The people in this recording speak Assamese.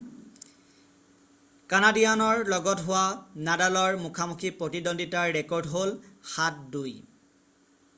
কানাডীয়ানৰ লগত হোৱা নাডালৰ মুখামুখি প্ৰতিদন্দ্বিতাৰ ৰেকৰ্ড হ'ল 7-2